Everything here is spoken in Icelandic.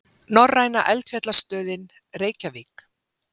Norræna eldfjallastöðin, Reykjavík.